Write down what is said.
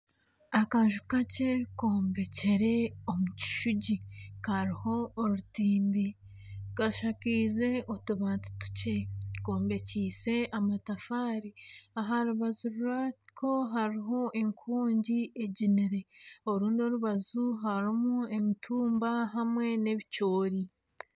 Akaju kakye kombekire omu kishugi kariho orutimbi kashakaize otubati tukye kombekyeise amatafaari aha rubaju rwako hariho enkongi eginire orundi orubaju harimu emitumba hamwe n'ebicoori